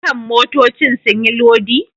Dukan motoccin sun yi lodi?.